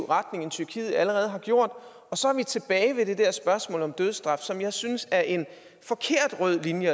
retning end tyrkiet allerede har gjort og så er vi tilbage ved det der spørgsmål om dødsstraf som jeg synes er en forkert rød linje